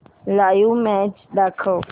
live match दाखव